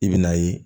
I bɛ n'a ye